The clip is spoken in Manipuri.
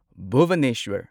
ꯚꯨꯕꯅꯦꯁ꯭ꯋꯔ